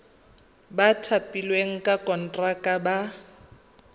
ba thapilweng ka konteraka ba